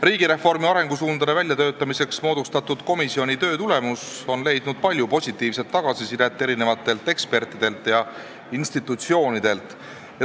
Riigireformi arengusuundade väljatöötamiseks moodustatud komisjoni töö tulemus on leidnud palju positiivset tagasisidet erinevatelt ekspertidelt ja institutsioonidelt.